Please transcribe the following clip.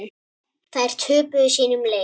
Þær töpuðu sínum leik.